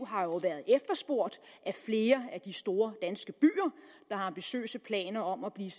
har jo været efterspurgt af flere af de store danske byer der har ambitiøse planer om at blive